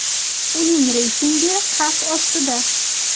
Uning reytingi xavf ostida.